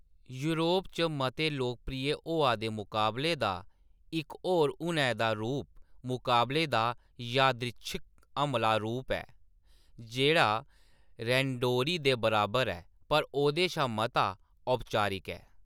Europe च मते लोकप्रिय होआ दे मकाबले दा इक होर हुनै दा रूप मकाबले दा यादृच्छिक हमला रूप ऐ, जेह्ड़ा‌ रैंडोरी दे बराबर ऐ, पर ओह्दे शा मता औपचारिक ऐ।